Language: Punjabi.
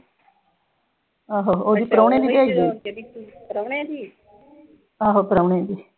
ਆਹੋ ਉਹੀ ਪ੍ਰਾਹੁਣੇ ਦੀ ਭੇਜਦੀ ਆਹੋ ਪ੍ਰਾਹੁਣੇ ਦੀ।